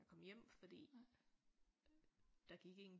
Og komme hjem fordi der gik ingen